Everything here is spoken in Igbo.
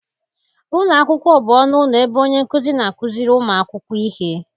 Ụlọ akwụkwọ bụ ọnụ ụlọ ebe onye nkuzi na-akụziri ụmụ akwụkwọ ihe